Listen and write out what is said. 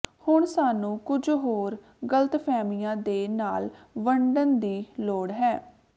ਹੁਣ ਸਾਨੂੰ ਕੁਝ ਹੋਰ ਗਲਤਫਹਿਮੀਆਂ ਦੇ ਨਾਲ ਵੰਡਣ ਦੀ ਲੋੜ ਹੈ